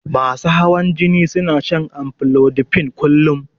Masu hawan jini suna shan amlodipine kullun